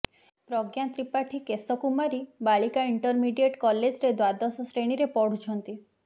ପ୍ରଜ୍ଞା ତ୍ରିପାଠୀ କେଶ କୁମାରୀ ବାଳିକା ଇଣ୍ଟରମିଡିଏଟ୍ କଲେଜ୍ରେ ଦ୍ବାଦଶ ଶ୍ରେଣୀରେ ପଢ଼ୁଛନ୍ତି